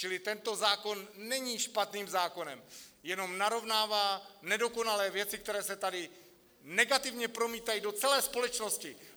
Čili tento zákon není špatným zákonem, jen narovnává nedokonalé věci, které se tady negativně promítají do celé společnosti.